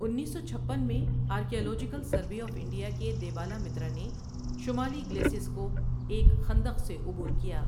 انیس سو چھپن میں آرکیالوجیکل سروے آف انڈیا کے دیبالا مترا نے شمالی گلیسیس کو ایک خندق سے عبور کیا۔